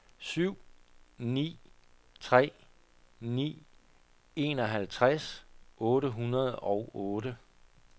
syv ni tre ni enoghalvtreds otte hundrede og otte